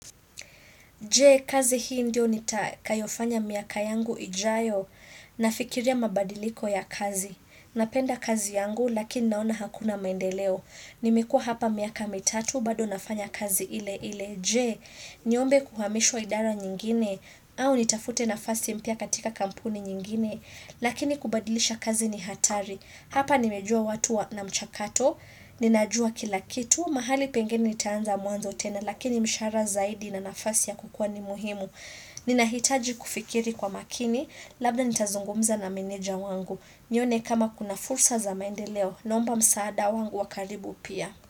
Je, kazi hii ndio nitakayofanya miaka yangu ijayo, nafikiria mabadiliko ya kazi. Napenda kazi yangu, lakini naona hakuna maendeleo. Nimekuwa hapa miaka mitatu, bado nafanya kazi ile ile. Je, niombe kuhamishwa idara nyingine, au nitafute nafasi mpya katika kampuni nyingine, lakini kubadilisha kazi ni hatari. Hapa nimejua watu na mchakato, ninajua kila kitu. Huu mahali pengeni nitaanza mwanzo tena lakini mshahara zaidi na nafasi ya kukua ni muhimu. Ninahitaji kufikiri kwa makini labda nitazungumza na meneja wangu. Nione kama kuna fursa za maendeleo. Naomba msaada wangu wa karibu pia.